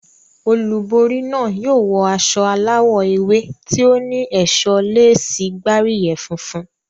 Olúborí náà yóò wọ aṣọ aláwọ̀ ewé tí ó ní ẹ̀ṣọ́ léèsì gbáríyẹ̀ funfun.